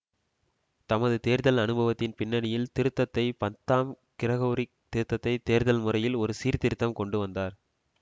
தமது தேர்தல் அனுபவத்தின் பின்னணியில் திருத்தந்தை பத்தாம் கிரகோரி திருத்தந்தைத் தேர்தல் முறையில் ஒரு சீர்திருத்தம் கொண்டுவந்தார்